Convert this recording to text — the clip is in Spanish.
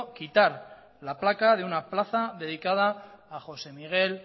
quitar la placa de una plaza dedicada a josé miguel